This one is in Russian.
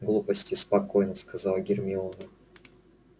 глупости сказала спокойно гермиона